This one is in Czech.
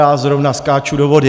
Já zrovna skáču do vody".